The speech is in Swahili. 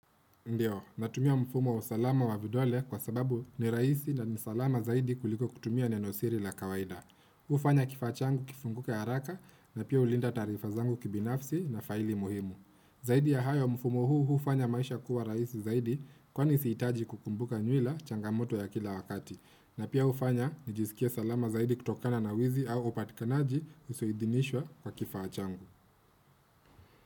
Ndiyo, natumia mfumo wa salama wa vidole kwa sababu ni raisi na nisalama zaidi kuliko kutumia nenosiri la kawaida. Hufanya kifaa changu kifunguke haraka na pia hulinda taarifa zangu kibinafsi na faili muhimu. Zaidi ya hayo mfumo huu hufanya maisha kuwa rahisi zaidi kwa nisihitaji kukumbuka nyuila changamoto ya kila wakati. Na pia hufanya nijisikia salama zaidi kutokana na wizi au upatikanaji kusoidhinishwa kwa kifaa changu.